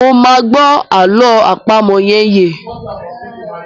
Mo máa gbọ́ àlọ́ àpamọ̀ yẹn yé.